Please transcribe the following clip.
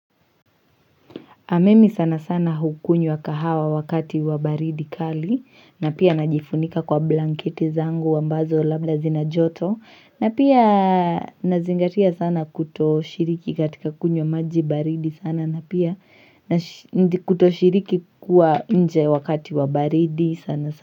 Ah mimi sana sana hukunywa kahawa wakati wa baridi kali na pia najifunika kwa blanketi zangu ambazo labda zina joto na pia nazingatia sana kuto shiriki katika kunywa maji baridi sana na pia kuto shiriki kuwa nje wakati wa baridi sana sana.